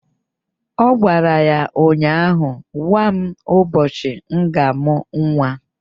Ọ gwara ya ụnyaahụ "Gwa m ụbọchị m ga-amụ nwa"!